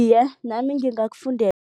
Iye, nami